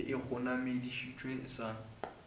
a be a kgonamišeditšwe sa